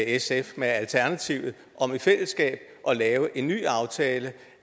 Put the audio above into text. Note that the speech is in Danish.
sf og alternativet om i fællesskab at lave en ny aftale